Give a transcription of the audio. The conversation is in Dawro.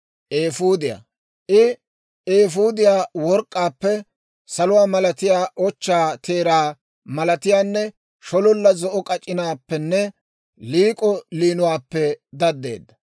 I eefuudiyaa, work'k'aappe, saluwaa malatiyaa, ochchaa teeraa malatiyaanne shololla zo'o k'ac'inaappenne liik'o liinuwaappe daddeedda.